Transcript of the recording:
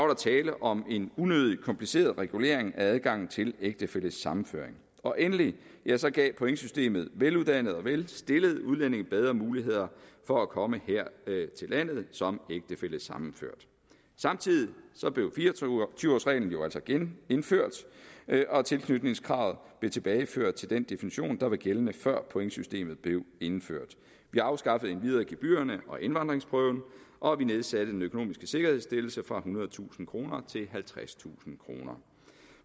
der tale om en unødigt kompliceret regulering af adgangen til ægtefællesammenføring og endelig gav pointsystemet veluddannede og velstillede udlændinge bedre muligheder for at komme her til landet som ægtefællesammenført samtidig blev fire og tyve årsreglen jo altså genindført og tilknytningskravet blev tilbageført til den definition der var gældende før pointsystemet blev indført vi afskaffede endvidere gebyrerne og indvandringsprøven og vi nedsatte den økonomiske sikkerhedsstillelse fra ethundredetusind kroner til halvtredstusind kroner